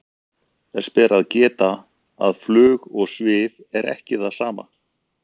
þess ber að geta að flug og svif er ekki það sama